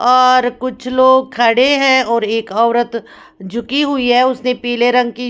और कुछ लोग खड़े हैं और एक औरत झुकी हुई हैं उसने पीले रंग की--